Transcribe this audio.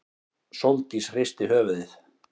Sóldís hristi höfuðið.